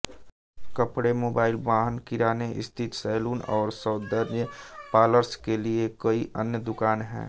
कपड़े मोबाइल वाहन किराने स्थिर सैलून और सौंदर्य पार्लर्स के लिए कई अन्य दुकानें हैं